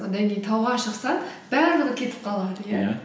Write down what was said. одан кейін тауға шықсаң барлығы кетіп қалады иә